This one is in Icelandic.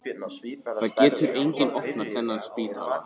Það getur enginn opnað þennan spítala.